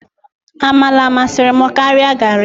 Amala masịrị m karia garri.